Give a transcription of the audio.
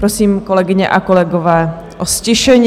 Prosím, kolegyně a kolegové, o ztišení.